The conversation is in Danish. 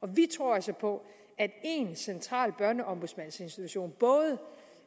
og vi tror altså på at én central børneombudsmandsinstitution både